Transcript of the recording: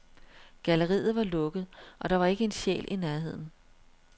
Galleriet var lukket, og der var ikke en sjæl i nærheden.